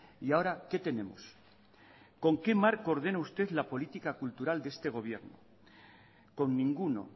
y ahora qué tenemos con qué marco ordena usted la política cultural de este gobierno con ninguno